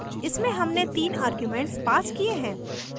इसमें हमने तीन आर्ग्यूमेंट्स passed किये हैं